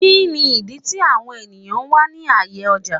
Kini idi ti awọn eniyan wa ni aaye ọja?